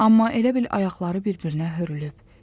Amma elə bil ayaqları bir-birinə hörülüb.